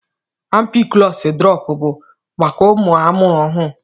Ampiklọs drọp bụ maka ụmụaka amụrụ ọhụrụ.